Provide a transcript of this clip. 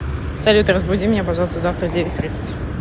салют разбуди меня пожалуйста завтра в девять тридцать